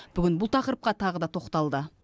бүгін бұл тақырыпқа тағы да тоқталды